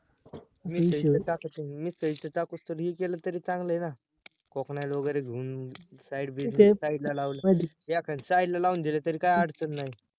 मिसळी च टाकुस तर, मिसळी च टाकुस तर, हे केल तरी चांगल आहे ना वगैरे घेऊन side business, side ला लावलं एखाद side ला लाऊन दिला तरी काय अडचण नाही